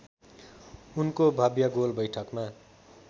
उनको भव्य गोलबैठकमा